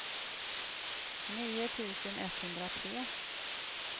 nio tusen etthundratre